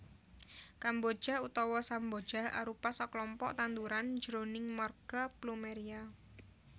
Kemboja utawa samboja arupa saklompok tanduran jroning marga Plumeria